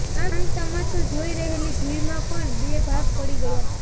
આ તમાશો જોઈ રહેલી ભીડમાં પણ બે ભાગ પડી ગયા